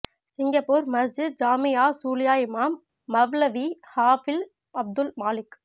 Singapore Masjid Jamae Chulia இமாம் மவ்லவீ ஹாஃபிழ் அப்துல் மாலிக்